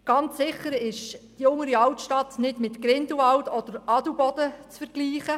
Ganz sicher ist die Untere Berner Altstadt nicht mit Grindelwald oder Adelboden zu vergleichen.